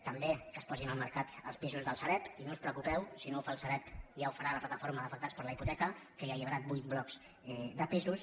també que es posin al mercat els pisos del sareb i no us preocupeu si no ho fa el sareb ja ho farà la plataforma d’afectats per la hipoteca que ja ha alliberat vuit blocs de pisos